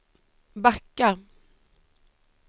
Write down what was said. backa